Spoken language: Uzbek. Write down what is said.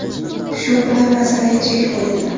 Shu bilan masalaga chek qo‘yildi.